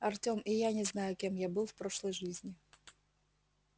артём и я не знаю кем я был в прошлой жизни